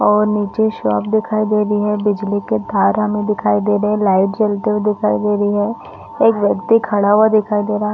और नीचे शॉप दिखाई दे रही है बिजली के तार हमे दिखाई दे रहे है लाइट जलते हुए हमे दिखाई दे रही है एक व्यक्ति खड़ा हुआ दिखाई दे रहा हैं।